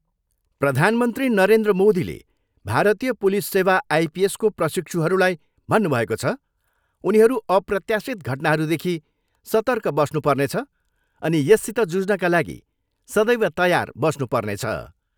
प्रधानमन्त्री नरेन्द्र मोदीले भारतीय पुलिस सेवा आइपिएसको प्रशिक्षुहरूलाई भन्नुभएको छ, उनीहरू अप्रत्याशित घटनाहरूदेखि सर्तक बस्नु पर्नेछ अनि यससित जुझ्नका लागि सदैव तयार बस्नु पर्नेछ।